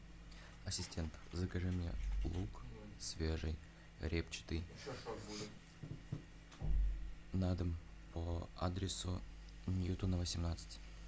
ассистент закажи мне лук свежий репчатый на дом по адресу ньютона восемнадцать